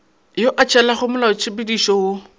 yo a tshelago molaotshepedišo wo